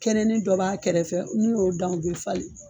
Kɛnɛnin dɔ b'a kɛrɛfɛ n'i y'o dan o bɛ falen